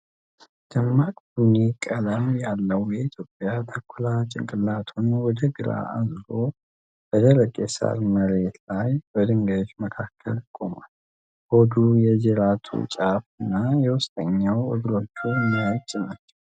ደማቅ ቡኒ ቀለም ያለው የኢትዮጵያ ተኩላ ጭንቅላቱን ወደ ግራ አዙሮ በደረቅ የሳር መሬት ላይ በድንጋዮች መካከል ቆሟል። ሆዱ፣ የጅራቱ ጫፍ እና የውስጠኛው እግሮቹ ነጭ ናቸው።